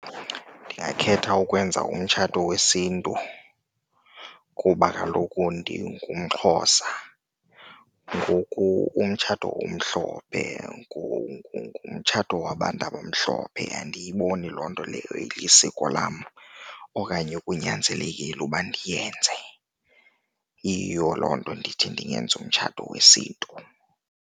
Ndingakhetha ukwenza umtshato wesiNtu kuba kaloku ndingumXhosa ngoku umtshato omhlophe ngumtshato nto wabantu abamhlophe andiyiboni loo nto leyo lisiko lam okanye kunyanzelekile uba ndiyenze. Yiyo loo nto ndithi ndingenza umtshato wesiNtu.